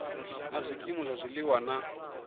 na zwikimu zwa zwiliwa na